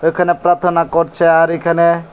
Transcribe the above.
এখানে প্রাথনা করছে আর এখানে--